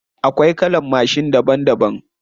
Akwai kalan mashin daban daban.